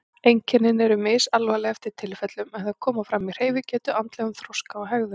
Einkennin eru misalvarleg eftir tilfellum en þau koma fram í hreyfigetu, andlegum þroska og hegðun.